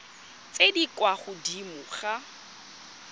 tse di kwa godimo ga